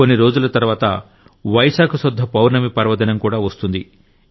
కొన్ని రోజుల తర్వాత వైశాఖ శుద్ధ పౌర్ణమి పర్వదినంకూడా వస్తుంది